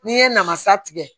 N'i ye namasa tigɛ